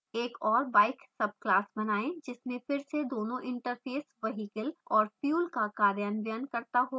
एक और bike subclass बनाएँ जिसमें फिर से दोनों interfaces vehicle और fuel का कार्यान्वयन करता हो